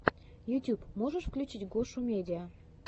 ютюб можешь включить гошумедиа